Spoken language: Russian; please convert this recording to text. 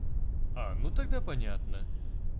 а ну тогда понятно